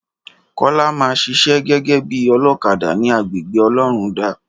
Kọ́lá ma ṣiṣẹ́ gégé bí olókadà ní agbègbè ọlọ́rundá